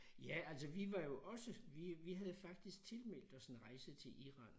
Ja altså vi var jo også vi vi havde faktisk tilmeldt os en rejse til Iran